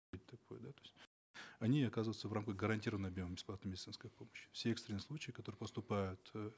это такое да то есть они оказываются в рамках гарантированного объема бесплатной медицинской помощи все экстренные случаи которые поступают э